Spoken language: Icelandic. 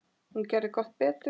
Hún gerði gott betur.